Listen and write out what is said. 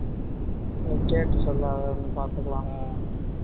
இந்தா கேட்டு சொல்லு அவன் வந்து பாத்துக்கலாங்க